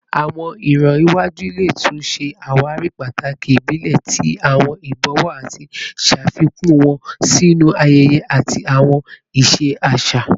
Awọn iran iwaju le tun ṣe awari pataki ibile ti awọn ibọwọ ati ṣafikun wọn sinu ayẹyẹ ati awọn iṣe aṣa